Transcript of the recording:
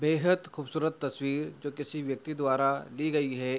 बेहद खूबसूरत तस्वीर जो किसी व्यक्ति द्वारा दी गयी है।